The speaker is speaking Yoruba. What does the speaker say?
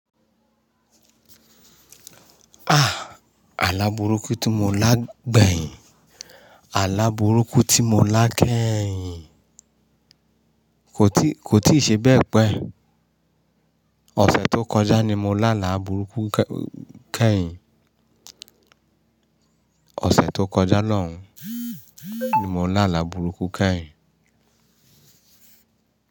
Ah! Àlá burúkú tí mo lá gbẹ̀yìn, àlá burúkú tí mo lá kẹ́yìn, kò tíì, kò tíì ṣe bẹ́ẹ̀ pé ọ̀sẹ̀ tó kọjá ni mo lá àlá burúkú kẹ́yìn. Ọ̀sẹ̀ tó kọjá lọ́hun ni mo lá àlá burúkú kẹ́yìn.